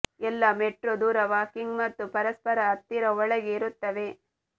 ಎಲ್ಲಾ ಮೆಟ್ರೋ ದೂರ ವಾಕಿಂಗ್ ಮತ್ತು ಪರಸ್ಪರ ಹತ್ತಿರ ಒಳಗೆ ಇರುತ್ತವೆ